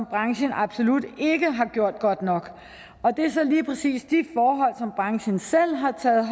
branchen absolut ikke har gjort det godt nok og det er så lige præcis de forhold som branchen selv har taget